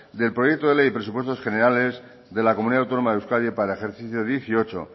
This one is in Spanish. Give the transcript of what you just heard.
del proyecto de ley de presupuestos generales de la comunidad autónoma de euskadi para el ejercicio dos mil dieciocho